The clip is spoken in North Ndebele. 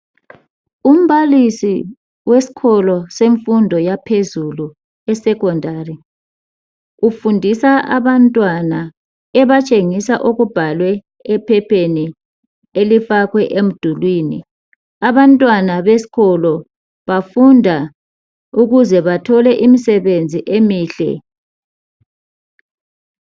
Umbalisi wesikolo semfundo yaphezulu esecondary ufundisa abantwana ebatshengisa okubhalwe ephepheni elifakwe emdulini. Abantwana besikolo bafunda ukuze bathole imisebenzi emihle.